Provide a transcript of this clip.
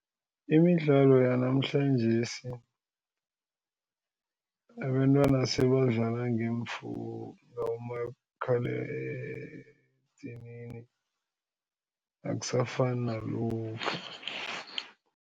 Imidlalo yanamhlanjesi abentwana sebadlala ngabomakhala edinini akusafani nalokha.